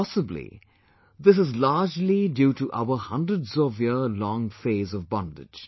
Possibly this is largely due to our hundreds of year long phase of bondage